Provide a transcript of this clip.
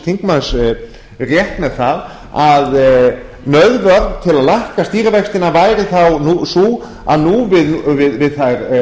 þingmanns rétt með það að nauðvörn til að lækka stýrivextina væri þá sú að nú við þær